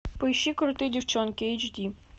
поищи крутые девчонки эйч ди